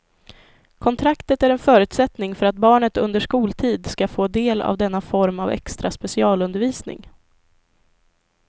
Kontraktet är en förutsättning för att barnet under skoltid ska få del av denna form av extra specialundervisning.